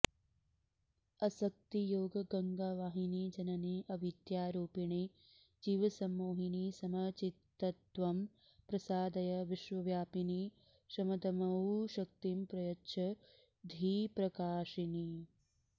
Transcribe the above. असक्ति योग गङ्गावाहिनि जननि अवीद्यारूपिणि जीवसम्मोहिनि समचित्तत्वं प्रसादय विश्वव्यापिनि शमदमौशक्तिं प्रयच्छ धीप्रकाशिनि